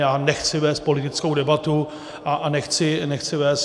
Já nechci vést politickou debatu a nechci vést...